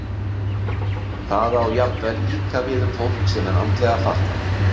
Það á jafnvel líka við um fólk sem er andlega fatlað.